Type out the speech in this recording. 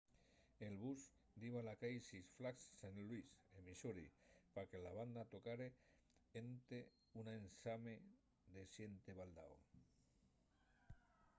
el bus diba a la cai six flags st louis en missouri pa que la banda tocare énte un ensame de xente baldao